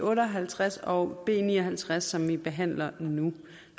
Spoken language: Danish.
otte og halvtreds og b ni og halvtreds som vi behandler nu